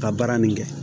Ka baara nin kɛ